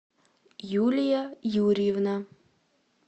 юлия юрьевна